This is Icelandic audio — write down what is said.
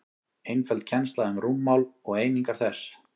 einföld kennsla um rúmmál og einingar þess